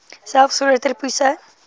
selfs groter hoogtes